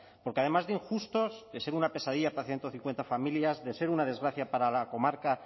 porque además de injustos de ser una pesadilla para ciento cincuenta familias de ser una desgracia para la comarca